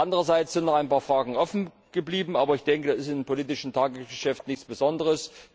Andererseits sind noch ein paar Fragen offen geblieben, aber das ist im politischen Tagesgeschäft nichts Besonderes.